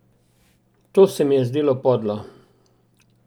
To se mi je zdelo podlo.